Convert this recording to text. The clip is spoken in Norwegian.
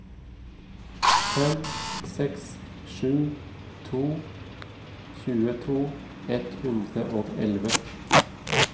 fem seks sju to tjueto ett hundre og elleve